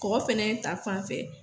Kɔkɔ ta fan fɛ.